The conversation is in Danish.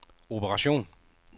operation